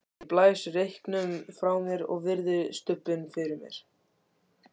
Ég blæs reyknum frá mér og virði stubbinn fyrir mér.